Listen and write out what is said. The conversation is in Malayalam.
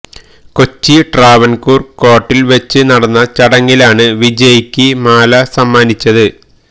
കൊച്ചി ട്രാവൻകൂർ കോർട്ടിൽ വച്ച് നടന്ന ചടങ്ങിലാണ് വിജയിക്ക് മാല സമ്മാനിച്ചത്